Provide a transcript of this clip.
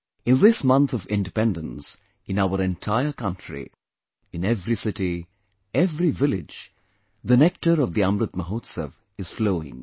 In this month of independence, in our entire country, in every city, every village, the nectar of Amrit Mahotsav is flowing